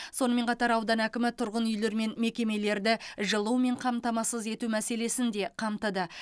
сонымен қатар аудан әкімі тұрғын үйлер мен мекемелерді жылумен қамтамасыз ету мәселесін де қамтыды